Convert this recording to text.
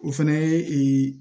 O fɛnɛ ye